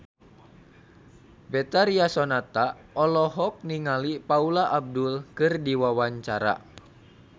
Betharia Sonata olohok ningali Paula Abdul keur diwawancara